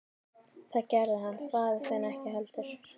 Það gerði hann faðir þinn ekki heldur.